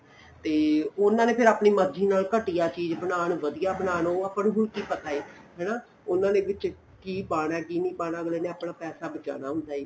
ਤੇ ਉਹਨਾ ਨੇ ਆਪਣੀ ਮਰਜੀ ਫ਼ਿਰ ਆਪਣੀ ਮਰਜੀ ਨਾਲ ਘਟੀਆਂ ਚੀਜ ਬਣਾਣ ਵਧੀਆ ਬਣਾਣ ਉਹ ਆਪਾਂ ਨੂੰ ਕਿ ਪਤਾ ਏ ਹਨਾ ਉਹਨਾ ਨੇ ਵਿੱਚ ਕਿ ਪਾਣਾ ਏ ਕਿ ਨਹੀਂ ਪਾਣਾ ਅੱਗਲੇ ਨੇ ਆਪਣਾ ਪੈਸਾ ਬਚਾਉਣਾ ਏ